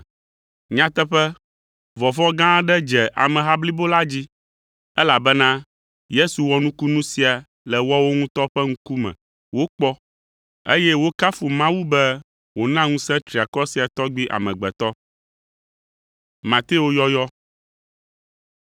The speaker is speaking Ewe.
Nyateƒe, vɔvɔ̃ gã aɖe dze ameha blibo la dzi, elabena Yesu wɔ nukunu sia le woawo ŋutɔ ƒe ŋkume wokpɔ, eye wokafu Mawu be wòna ŋusẽ triakɔ sia tɔgbi amegbetɔ!